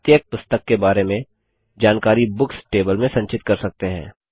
प्रत्येक पुस्तक के बारे में जानकारी बुक्स टेबल में संचित कर सकते हैं